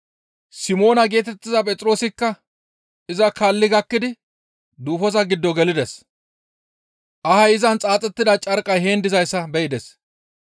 Simoona geetettiza Phexroosikka iza kaalli gakkidi duufoza giddo gelides; ahay izan xaaxettida carqqay heen dizayssa be7ides.